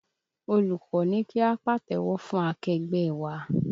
Olùkọ́ ní kí á pàtẹ́wọ́ fún akẹgbẹ́ ẹ wa